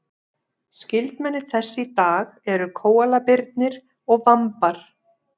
skyldmenni þess í dag eru kóalabirnir og vambar